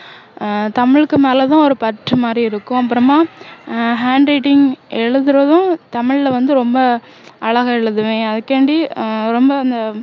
ஆஹ் தமிழுக்கு மேலதான் ஒரு பற்று மாதிரி இருக்கும் அப்பறமா ஆஹ் handwriting எழுதுறதும் தமிழ்ல வந்து ரொம்ப அழகா எழுதுவேன் அதுக்காண்டி ஆஹ் ரொம்ப அந்த